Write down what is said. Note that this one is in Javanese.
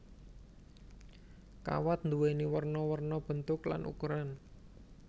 Kawat nduwéni werna werna bentuk lan ukuran